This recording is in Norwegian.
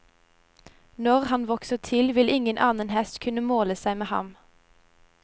Når han vokser til, vil ingen annen hest kunne måle seg med ham.